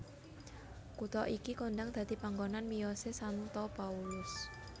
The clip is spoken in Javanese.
Kutha iki kondhang dadi panggonan miyosé Santo Paulus